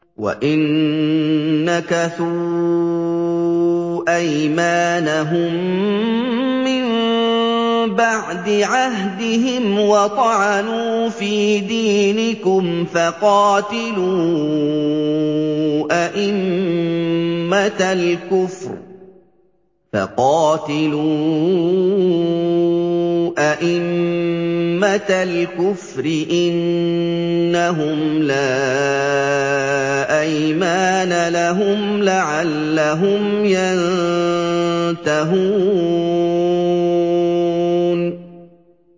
وَإِن نَّكَثُوا أَيْمَانَهُم مِّن بَعْدِ عَهْدِهِمْ وَطَعَنُوا فِي دِينِكُمْ فَقَاتِلُوا أَئِمَّةَ الْكُفْرِ ۙ إِنَّهُمْ لَا أَيْمَانَ لَهُمْ لَعَلَّهُمْ يَنتَهُونَ